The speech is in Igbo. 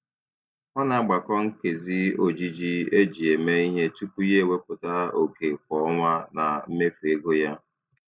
Ọ na-agbakọ nkezi ojiji eji eme ihe tupu ya ewepụta oke kwa ọnwa na mmefu ego ya.